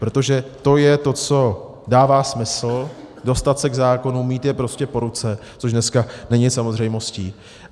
Protože to je to, co dává smysl: dostat se k zákonům, mít je prostě po ruce, což dneska není samozřejmostí.